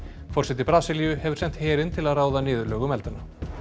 forseti Brasilíu hefur sent herinn til að ráða niðurlögum eldanna